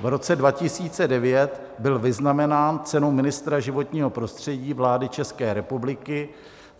V roce 2009 byl vyznamenán cenou ministra životního prostředí vlády České republiky